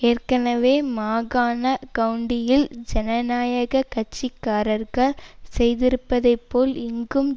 ஏற்கனவே மாகாண கவுண்டியில் ஜனநாயக கட்சி காரர்கள் செய்திருப்பதை போல் இங்கும்